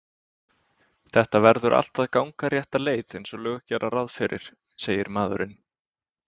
Þetta verður allt að ganga rétta leið einsog lög gera ráð fyrir, segir maðurinn.